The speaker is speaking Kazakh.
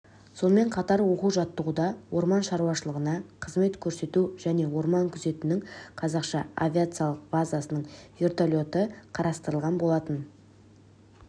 сонымен қатар оқу-жаттығуда орман шаруашылығына қызмет көрсету және орман күзетінің қазақ авиациялық базасының верталеті қатыстырылған болатын